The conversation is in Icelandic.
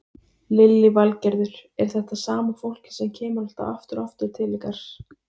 Lillý Valgerður: Er þetta sama fólkið sem kemur alltaf aftur og aftur til ykkar?